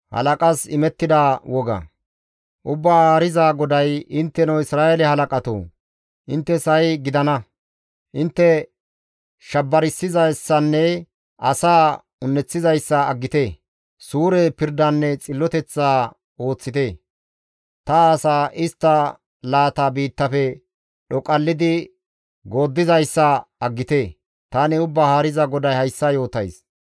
« ‹Ubbaa Haariza GODAY: Intteno Isra7eele halaqatoo, inttes ha7i gidana! Intte shabarssizayssanne asaa un7eththizayssa aggite; suure pirdanne xilloteth ooththite. Ta asa istta laata biittafe dhoqallidi gooddizayssa aggite. Tani Ubbaa Haariza GODAY hayssa yootays.